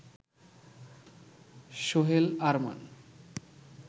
Sohel Arman